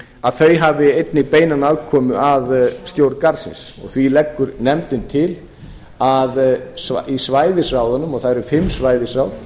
að þau hafi einnig beina aðkomu að stjórn garðsins því leggur nefndin til að í svæðisráðunum það eru fimm svæðisráð